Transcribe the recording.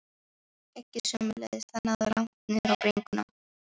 Skeggið sömuleiðis, það náði langt niður á bringuna.